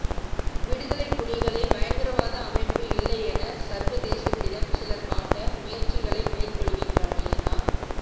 விடுதலை புலிகளை பயங்கரவாத அமைப்பு இல்லையென சர்வதேசத்திடம் சிலர் காட்ட முயற்சிகளை மேற்கொள்கின்றமையினா